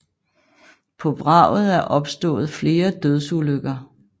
På vraget er opstået flere dødsulykker